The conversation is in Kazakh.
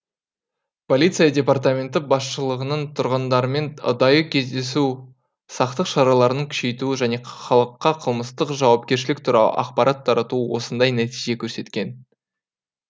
полиция департаменті басшылығының тұрғындармен ұдайы кездесуі сақтық шараларын күшейтуі және халыққа қылмыстық жауапкершілік туралы ақпарат таратуы осындай нәтиже көрсеткен